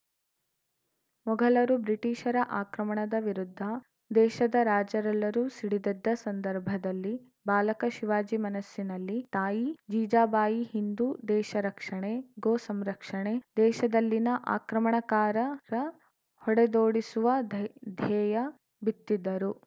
ಮೊಘಲರು ಬ್ರಿಟಿಷರ ಆಕ್ರಮಣದ ವಿರುದ್ಧ ದೇಶದ ರಾಜರೆಲ್ಲರೂ ಸಿಡಿದೆದ್ದ ಸಂದರ್ಭದಲ್ಲಿ ಬಾಲಕ ಶಿವಾಜಿ ಮನಸ್ಸಿನಲ್ಲಿ ತಾಯಿ ಜೀಜಾಬಾಯಿ ಹಿಂದೂ ದೇಶ ರಕ್ಷಣೆ ಗೋಸಂರಕ್ಷಣೆ ದೇಶದಲ್ಲಿನ ಅಕ್ರಮಣಕಾರರ ಹೊಡೆದೋಡಿಸುವ ಧೈ ಧ್ಯೇಯ ಬಿತ್ತಿದ್ದರು